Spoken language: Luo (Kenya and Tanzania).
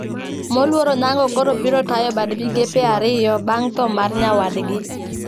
Moluor Onyango koro biro tayo bad migepe ariyo bang` tho mar nyawadgi